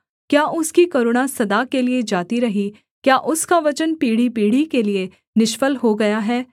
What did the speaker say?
क्या उसकी करुणा सदा के लिये जाती रही क्या उसका वचन पीढ़ीपीढ़ी के लिये निष्फल हो गया है